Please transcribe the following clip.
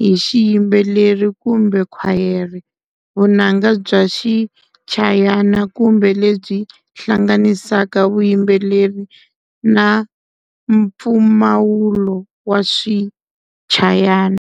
hi xiyimbeleri ku mbe khwayere, vunanga bya swichayana kumbe lebyi hlanganisaka vuyimbeleri na mpfumawulo wa swichayana.